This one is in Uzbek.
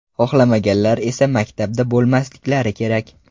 Xohlamaganlar esa maktabda bo‘lmasliklari kerak.